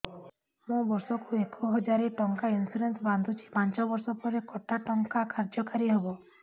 ମୁ ବର୍ଷ କୁ ଏକ ହଜାରେ ଟଙ୍କା ଇନ୍ସୁରେନ୍ସ ବାନ୍ଧୁଛି ପାଞ୍ଚ ବର୍ଷ ପରେ କଟା ଟଙ୍କା କାର୍ଯ୍ୟ କାରି ହେବ